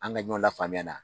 An ga ɲɔn la faamuya na